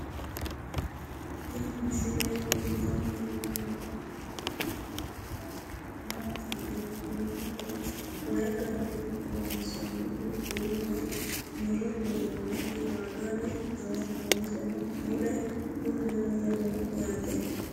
Tinni misile kulittanni noorrinna la'nanniri maattiya yinummoro waayi Ganda loonssonnihu uulla murre duunnonnitti maagaarre noo muusseno mule bununno mule noo yaatte